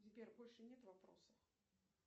сбер больше нет вопросов